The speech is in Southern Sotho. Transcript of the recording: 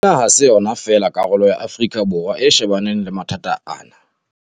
Ena ha se yona fela karolo ya Afrika Borwa e shebaneng le mathata a kang ana.